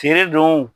Feere don